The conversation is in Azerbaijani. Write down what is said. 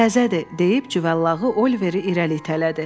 Təzədir, - deyib cüvallağı Oliveri irəli itələdi.